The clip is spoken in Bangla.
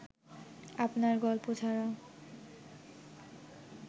আপনার গল্প ছাড়া